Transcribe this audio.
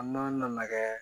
An ma kɛ